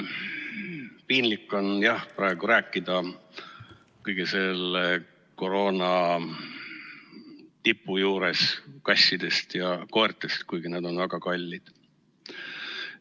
Piinlik on jah praegu rääkida selle koroona tipu juures kassidest ja koertest, kuigi nad on väga kallid.